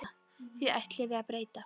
Því ætlum við að breyta.